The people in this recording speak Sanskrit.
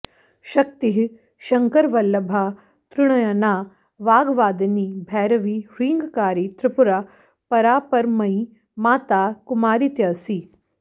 शक्तिः शङ्करवल्लभा त्रिणयना वाग्वादिनी भैरवी ह्रीङ्कारी त्रिपुरा परापरमयी माता कुमारीत्यसि